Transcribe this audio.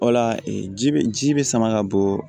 O la ji be ji be sama ka bɔ